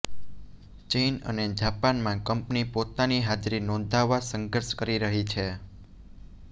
ચીન અને જાપાનમાં કંપની પોતાની હાજરી નોંધાવવા સંઘર્ષ કરી રહી છે